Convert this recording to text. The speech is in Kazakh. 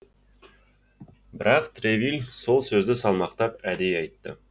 бірақ тревиль сол сөзді салмақтап әдейі айтты